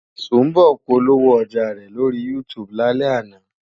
Sùḿbọ̀ polówó ọjà rẹ̀ lórí YouTube lálẹ́ àná.